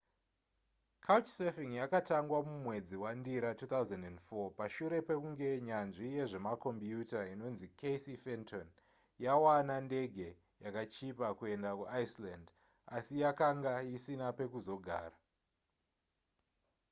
couchsurfing yakatangwa mumwedzi wandira 2004 pashure pekunge nyanzvi yezvemakombiyuta inonzi casey fenton yawana ndege yakachipa kuenda kuiceland asi yakanga isina pekuzogara